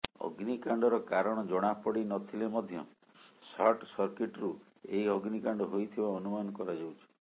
ଅଗ୍ନିକାଣ୍ଡର କାରଣ ଜଣାପଡି ନଥିଲେ ମଧ୍ୟ ସର୍ଟ ସର୍କିଟ୍ରୁ ଏହି ଅଗ୍ନିକାଣ୍ଡ ହୋଇଥିବା ଅନୁମାନ କରାଯାଉଛି